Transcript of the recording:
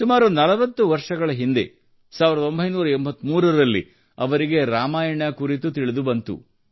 ಸುಮಾರು 40 ವರ್ಷಗಳ ಹಿಂದೆ 1983 ರಲ್ಲಿ ಅವರಿಗೆ ರಾಮಾಯಣ ಕುರಿತು ತಿಳಿದುಬಂದಿತು